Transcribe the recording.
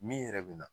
Min yɛrɛ bɛ na